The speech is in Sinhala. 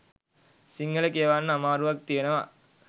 සිංහළ කියවන්න අමාරුවක් තියෙනවා